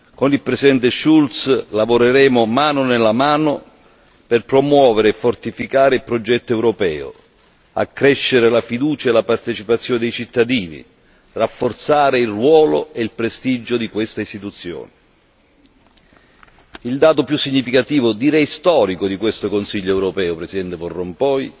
Con il Presidente Schulz lavoreremo mano nella mano per promuovere e fortificare il progetto europeo, accrescere la fiducia e la partecipazione dei cittadini, rafforzare il ruolo e il prestigio di questa Istituzione. Il dato più significativo, direi storico, di questo Consiglio europeo, presidente van Rompuy,